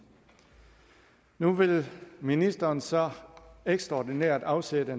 nu vil ministeren så ekstraordinært afsætte